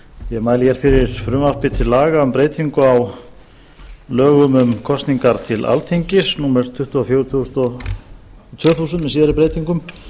ég mæli hér fyrir frumvarpi til laga um breytingu á lögum um kosningar til alþingis númer tuttugu og fjögur tvö þúsund með síðari breytingum